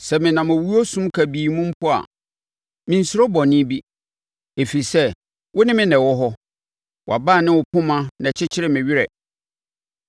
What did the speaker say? Sɛ menam owuo sum kabii mu mpo a, mensuro bɔne bi, ɛfiri sɛ, wo ne me na ɛwɔ hɔ; wʼabaa ne wo poma na ɛkyekyere me werɛ.